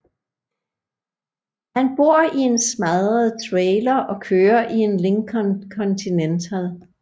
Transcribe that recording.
Han bor i en smadret trailer og kører i en Lincoln Continental